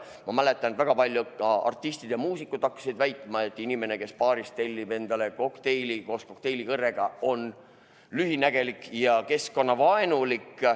Ma mäletan, et väga paljud artistid ja muusikud hakkasid väitma, et inimene, kes baaris tellib endale kokteili koos kokteilikõrrega, on lühinägelik ja keskkonnavaenulik.